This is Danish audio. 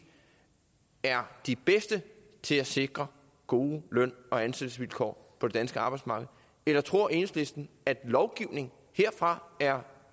er de bedste til at sikre gode løn og ansættelsesvilkår på det danske arbejdsmarked eller tror enhedslisten at lovgivning herfra er